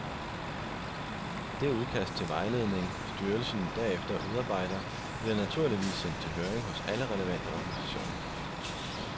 Det udkast til vejledning styrelsen derefter udarbejder bliver naturligvis sendt til høring hos alle relevante organisationer.